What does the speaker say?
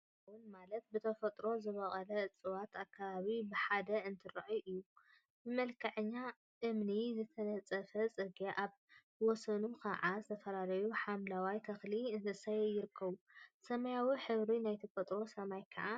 ተፈጥሮን አከባቢን ማለት ብተፈጥሮ ዝበቀሉ እፅዋትን አከባቢን ብሓደ እንትርአዩ እዩ፡፡ ብመልክዐኛ እምኒ ዝተነፀፈ ፅርግያ አብ ወሰኑ ከዓ ዝተፈላለዩ ሓምለዎት ተክሊታትን እንስሳን ይርከቡ፡፡ ሰማያዊ ሕብሪ ናይ ተፈጥሮ ሰማይ ከዓ